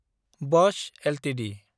Bosco Ltd